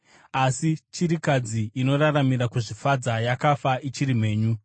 Asi chirikadzi inoraramira kuzvifadza yakafa ichiri mhenyu.